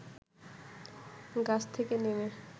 গাছ থেকে নেমে